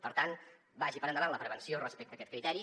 per tant vagi per endavant la prevenció respecte a aquest criteri